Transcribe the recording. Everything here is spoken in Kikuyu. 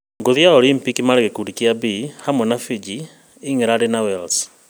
Ngũthi ya Olympic marĩ gĩkundi kĩa B hamwe na Fiji, England na Wales